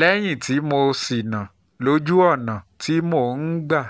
lẹ́yìn tí mo ṣìnà lójú ọ̀nà tí mo máa ń gbà